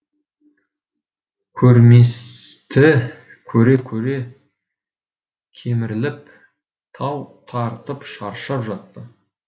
көрместі көре көре кеміріліп тау тартып шаршап жатты